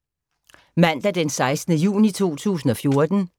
Mandag d. 16. juni 2014